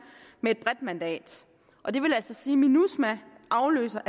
med et bredt mandat og det vil altså sige at minusma afløser